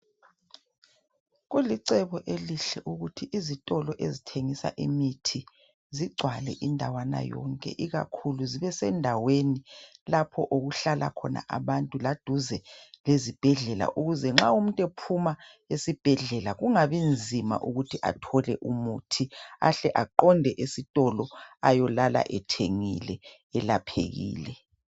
Kulicebo elihle ukuthi izitolo ezithengisa imithi zigcwale indawana yonke ikakhulu zibesendaweni lapho okuhlala khona abantu laduze lezibhedlela ukuze nxa umuntu ephuma esibhedlela kungabi nzima ukuthi athole umuthi ahle aqonde esitolo ayolala ethengile elaphekile.